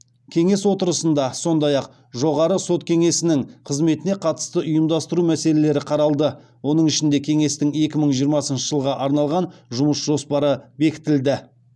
кеңес отырысында сондай ақ жоғары сот кеңесінің қызметіне қатысты ұйымдастыру мәселелері қаралды оның ішінде кеңестің екі мың жиырмасыншы жылға арналған жұмыс жоспары бекітілді